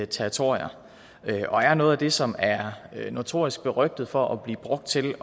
territorier og er noget af det som er notorisk berygtet for at blive brugt til